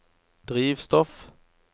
drivstoff